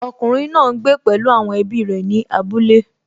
Ọkùnrin náà n gbé pẹ̀lú àwọn ẹbí rẹ̀ ní abúlé